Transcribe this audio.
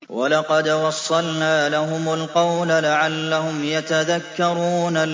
۞ وَلَقَدْ وَصَّلْنَا لَهُمُ الْقَوْلَ لَعَلَّهُمْ يَتَذَكَّرُونَ